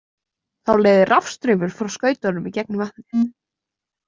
Þá leiðir rafstraumur frá skautunum í gegnum vatnið.